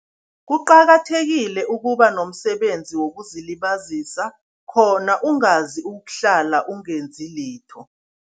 Kuqakathekile ukuba nomsebenzi wokuzilibazisa, khona ungazokuhlala ungenzi litho.